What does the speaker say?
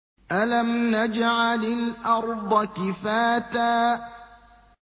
أَلَمْ نَجْعَلِ الْأَرْضَ كِفَاتًا